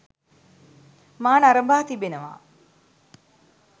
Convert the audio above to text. මා නරඹා තිබෙනවා.